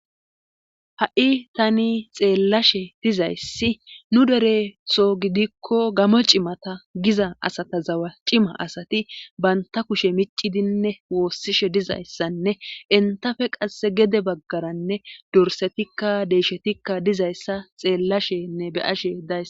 ha7i tani xeellashe dizayssi nu deretho gidikko gamo cimata giza asata zawa cima asati banta kushe micidinne woossishe dizayssanne entafe qasse gede baggaranne dorsetikka deyshetikka dizayssa xeellashenne beyashe days